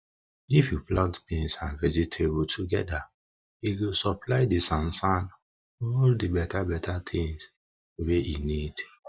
if you plant beans and vegetable togeda e go supply de all de beta beta tins wey e need